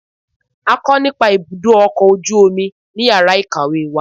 a kọ nìpa ibudọ ọkọ ojú omí ní ìyára ikáwe wa.